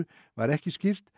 var ekki skýrt